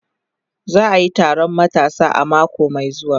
Za a yi taron matasa a mako mai zuwa